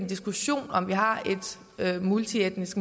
diskussion om vi har et multietnisk